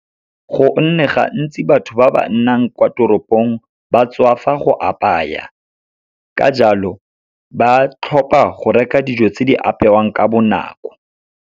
Go nne gantsi batho ba ba nnang kwa toropong ba tswafa go apaya, ka jalo ba tlhopha go reka dijo tse di apewang ka bonako.